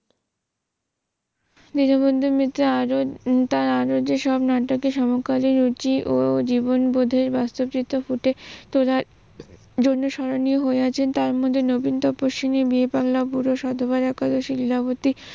দীনবন্ধু মিত্রের তার আরও যেসব নাটকে সমকালী রুচি ও জীবণ বোধে বাস্তব চিত্র ফুটে তোলার জন্য স্মরণীয় হয়ে আছে তার মধ্যে নবীন বীরপাল্লা পুরুষ, সাধুবাদ একাদশী, লীলাবতি